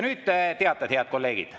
Nüüd teated, head kolleegid.